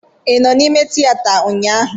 Ị nọ n'ime tịyeta ụnyaahụ?